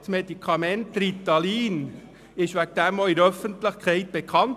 Das Medikament Ritalin wurde dadurch auch in der Öffentlichkeit bekannt.